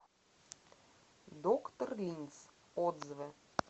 доктор линз отзывы